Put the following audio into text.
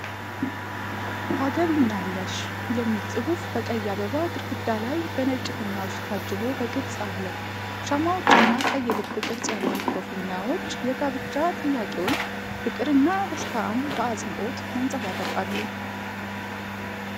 “ታገቢኛለሽ?” የሚል ጽሑፍ በቀይ አበባ ግድግዳ ላይ በነጭ ፊኛዎች ታጅቦ በግልጽ አለ። ሻማዎችና ቀይ ልብ ቅርጽ ያላቸው ፊኛዎች የጋብቻ ጥያቄውን ፍቅርንና ደስታን በአጽንዖት ያንጸባርቃሉ።